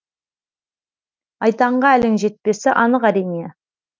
айтанға әлің жетпесі анық әрине